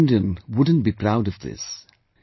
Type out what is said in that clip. Which Indian wouldn't be proud of this